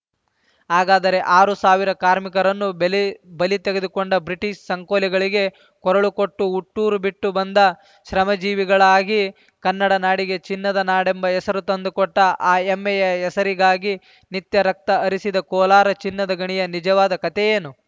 ಹಾಗಾದರೆ ಆರು ಸಾವಿರ ಕಾರ್ಮಿಕರನ್ನು ಬೆಲಿ ಬಲಿ ತೆಗೆದುಕೊಂಡ ಬ್ರಿಟಿಷ್ ಸಂಕೋಲೆಗಳಿಗೆ ಕೊರಳು ಕೊಟ್ಟು ಹುಟ್ಟೂರು ಬಿಟ್ಟು ಬಂದು ಶ್ರಮಜೀವಿಗಳಾಗಿ ಕನ್ನಡನಾಡಿಗೆ ಚಿನ್ನದ ನಾಡೆಂಬ ಹೆಸರು ತಂದುಕೊಟ್ಟ ಆ ಹೆಮ್ಮೆಯ ಹೆಸರಿಗಾಗಿ ನಿತ್ಯ ರಕ್ತ ಹರಿಸಿದ ಕೋಲಾರ ಚಿನ್ನದ ಗಣಿಯ ನಿಜವಾದ ಕತೆಯೇನು